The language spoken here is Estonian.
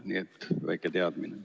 Nii et väike teadmine.